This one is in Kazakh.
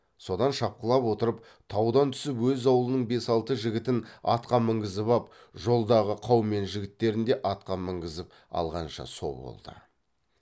содан шапқылап отырып таудан түсіп өз аулының бес алты жігітін атқа мінгізіп ап жолдағы қаумен жігіттерін де атқа мінгізіп алғанша со болды